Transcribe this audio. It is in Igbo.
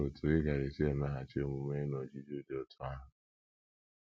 Olee otú ị gaara esi emeghachi omume n’ọjụjụ dị otú ahụ?